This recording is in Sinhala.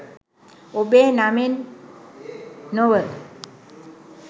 ඔබේ නමෙන් නොව